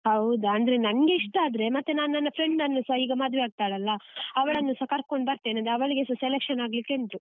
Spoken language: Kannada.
ಹೌದಾ ಅಂದ್ರೆ ನಂಗೆ ಇಷ್ಟ ಆದ್ರೆ ಮತ್ತೆ ನಾನು ನನ್ನ friend ಅನ್ನುಸ ಈಗ ಮದ್ವೆ ಆಗ್ತಾಳಲ್ಲ ಅವಳನ್ನುಸ ಕರ್ಕೊಂಡ್ ಬರ್ತೇನೆ ಅಂದ್ರೆ ಅವಳಿಗೆಸ selection ಆಗ್ಲಿಕೆ ಉಂಟು.